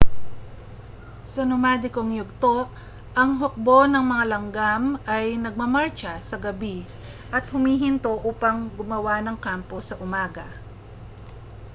sa nomadikong yugto ang hukbo ng mga langgam ay nagmamartsa sa gabi at humihinto upang gumawa ng kampo sa umaga